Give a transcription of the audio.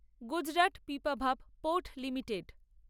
Gujarat Pipavav port limited